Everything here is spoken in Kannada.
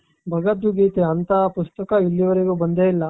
ಭಗವದ್ಗೀತೆ ಅಂತಹ ಪುಸ್ತಕ ಇಲ್ಲೀ ವರೆಗೂ ಬಂದೇ ಇಲ್ಲಾ